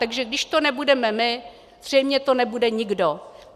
Takže když to nebudeme my, zřejmě to nebude nikdo.